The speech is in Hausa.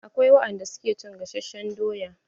Akwai wadan da suke cin gasashen doya.